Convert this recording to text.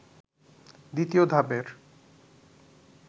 দ্বিতীয় ধাপের